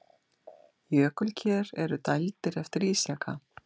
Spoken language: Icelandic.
Jökulker eru dældir eftir ísjaka.